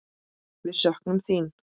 Við söknum þín.